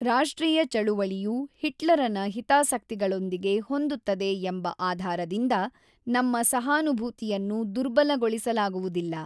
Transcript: ರಾಷ್ಟ್ರೀಯ ಚಳವಳಿಯು ಹಿಟ್ಲರನ ಹಿತಾಸಕ್ತಿಗಳೊಂದಿಗೆ ಹೊಂದುತ್ತದೆ ಎಂಬ ಆಧಾರದಿಂದ ನಮ್ಮ ಸಹಾನುಭೂತಿಯನ್ನು ದುರ್ಬಲಗೊಳಿಸಲಾಗುವುದಿಲ್ಲ.